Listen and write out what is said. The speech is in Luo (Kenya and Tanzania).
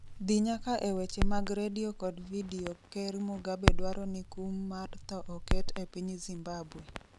dhi nyaka e weche mag redio kod vidio ker Mugabe dwaro ni kum mar tho oket e piny Zimbabwe